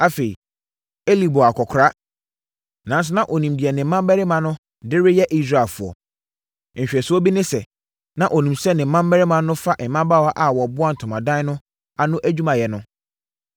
Afei, Eli bɔɔ akɔkoraa, nanso na ɔnim deɛ ne mmammarima no de reyɛ Israelfoɔ. Nhwɛsoɔ bi ne sɛ, na ɔnim sɛ ne mmammarima no fa mmabaawa a wɔboa ntomadan no ano adwumayɛ no.